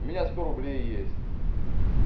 у меня сто рублей есть